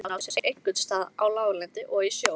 Setlagamyndun á sér einkum stað á láglendi og í sjó.